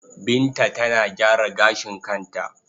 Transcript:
Binta tana gyara gashin kanta.